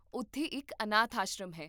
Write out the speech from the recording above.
ਉੱਥੇ ਇੱਕ ਅਨਾਥ ਆਸ਼ਰਮ ਹੈ